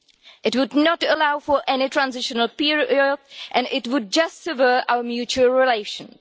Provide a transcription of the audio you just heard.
It would not allow for any transitional period and it would just worsen our mutual relations.